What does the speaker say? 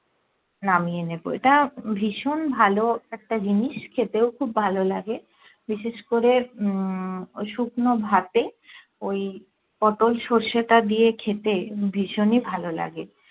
নামিয়ে নেবো এটা ভীষণ ভালো একটা জিনিস খেতেও খুব ভালো লাগে বিশেষ করে উম শুকনো ভাতে ওই পটোল সর্ষেটা দিয়ে খেতে ভীষণই ভালো লাগে